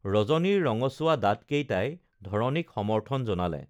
ৰজনীৰ ৰঙচুৱা দাঁতকেইটাই ধৰণীক সমৰ্থন জনালে